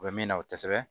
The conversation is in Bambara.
U bɛ min na o tɛ sɛbɛn